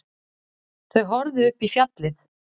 Þau horfðu upp í fjallið.